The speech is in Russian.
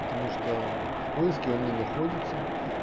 потому что в поиске он не находится